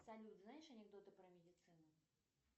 салют знаешь анекдоты про медицину